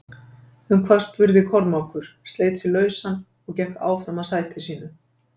Um hvað spurði Kormákur, sleit sig lausann og gekk áfram að sætinu sínu.